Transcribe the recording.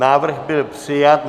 Návrh byl přijat.